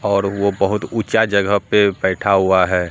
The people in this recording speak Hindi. और वो बहुत ऊंचा जगह पे बैठा हुआ है।